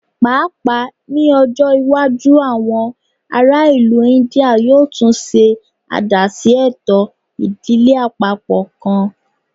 Paapaa ni ọjọ iwaju awọn ara ilu India yoo tun ṣe adaṣe eto idile apapọ kan